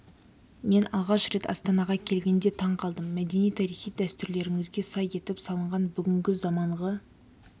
мен алғаш рет астанаға келгенде таң қалдым мәдени тарихи дәстүрлеріңізге сай етіп салынған бүгінгі заманғы